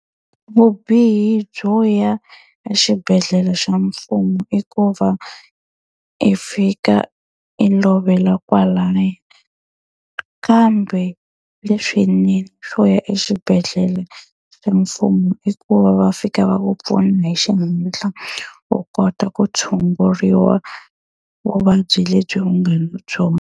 Vubihi byo ya ya xibedhlele xa mfumo i ku va i fika i lovela kwalaya, kambe leswinene swo ya exibedhlele se mfumo i ku va va fika va ku pfuna hi xihenhla. U kota ku tshunguriwa vuvabyi lebyi nga na byona.